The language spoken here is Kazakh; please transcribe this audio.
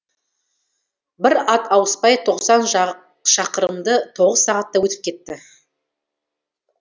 бір ат ауыспай тоқсан шақырымды тоғыз сағатта өтіп кетті